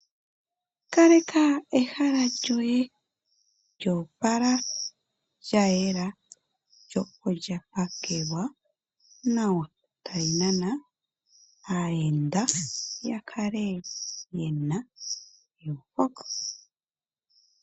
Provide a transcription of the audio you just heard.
Kaleka ehala lyoye lya opala, lya yela lyo olya pakelwa nawa tali nana aayenda ya kale ye na euveko.